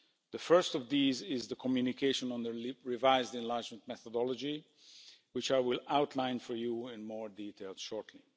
The first of these is the communication on the revised enlargement methodology, which I will outline for you in more detail shortly.